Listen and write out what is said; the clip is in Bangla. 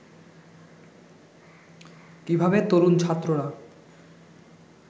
কিভাবে তরুণ ছাত্ররা